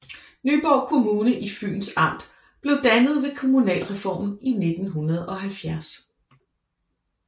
Nyborg Kommune i Fyns Amt blev dannet ved kommunalreformen i 1970